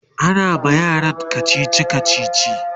ana ma yaran kachichi